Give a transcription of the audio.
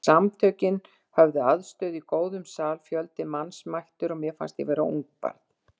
Samtökin höfðu aðstöðu í góðum sal, fjöldi manns mættur og mér fannst ég vera ungbarn.